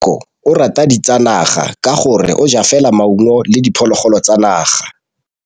Tshekô o rata ditsanaga ka gore o ja fela maungo le diphologolo tsa naga.